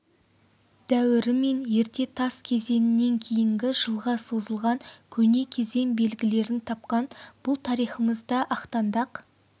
дәуірі мен ерте тас кезеңінен кейінгі жылға созылған көне кезең белгілерін тапқан бұл тарихымызда ақтаңдақ